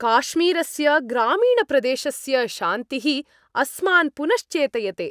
काश्मीरस्य ग्रामीणप्रदेशस्य शान्तिः अस्मान् पुनश्चेतयते।